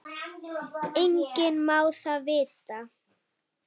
Enginn má það vita.